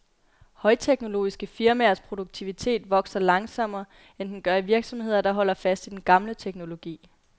Højteknologiske firmaers produktivitet vokser langsommere, end den gør i virksomheder, der holder fast i den gamle teknologi.